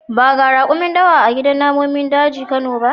Ba ga rakumi dawa a gidan namomin dajin kano ba.